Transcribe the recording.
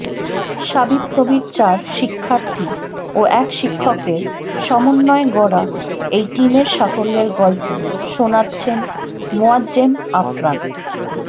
শাবিপ্রবির চার শিক্ষার্থী ও এক শিক্ষকের সমন্বয়ে গড়া এই টিমের সাফল্যের গল্প শোনাচ্ছেন মোয়াজ্জেম আফরান